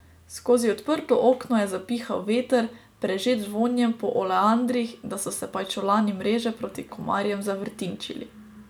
Skozi odprto okno je zapihal veter, prežet z vonjem po oleandrih, da so se pajčolani mreže proti komarjem zavrtinčili.